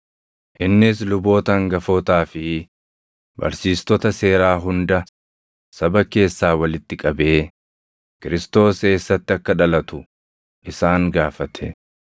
Innis luboota hangafootaa fi barsiistota seeraa hunda saba keessaa walitti qabee, Kiristoos eessatti akka dhalatu isaan gaafate.